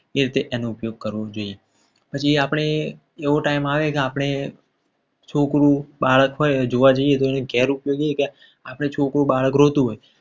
એ વખતે એનો ઉપયોગ કરવો જોઈએ. પછી આપણે એવો time આવે કે આપણે છોકરું બાળક હોય જોવા જઈએ. તો ગેર ઉપયોગી હોય આપણે છોકરું બાળક રોતું હોય.